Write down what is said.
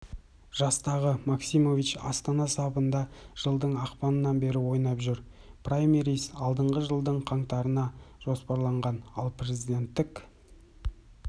жастағы максимович астана сапында жылдың ақпанынан бері ойнап жүр праймериз алдағы жылдың қаңтарына жоспарланған ал президенттік